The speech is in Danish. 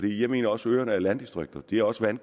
jeg mener også at øerne er landdistrikter de er også om